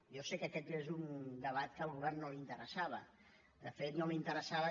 jo sé que aquest és un debat que al govern no li interessava de fet no li interessava